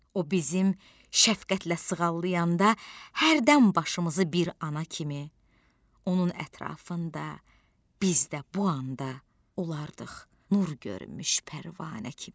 O bizim şəfqətlə sığallayanda hərdən başımızı bir ana kimi, onun ətrafında biz də bu anda olardıq nur görmüş pərvanə kimi.